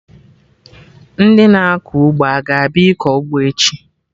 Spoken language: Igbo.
Ndị na-akọ ugbo aga abịa ịkọ ụgbọ echi?